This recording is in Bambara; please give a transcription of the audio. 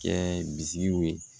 Kɛ bi